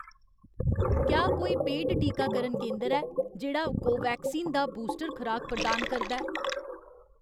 क्या कोई पेड टीकाकरण केंदर ऐ जेह्‌ड़ा कोवैक्सीन दा बूस्टर खराक प्रदान करदा ऐ